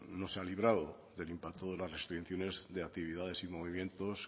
no se ha librado del impacto de las restricciones de actividades y movimientos